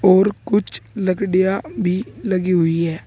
और कुछ लकड़ियां भी लगी हुई है।